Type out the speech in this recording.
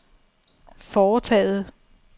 foretaget